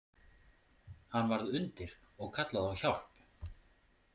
Hann varð undir og kallaði á hjálp.